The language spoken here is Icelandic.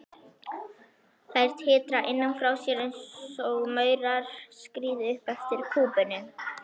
Þær titra innan frá einsog maurar skríði upp eftir kúpunni.